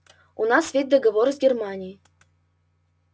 у нас ведь договоры с германией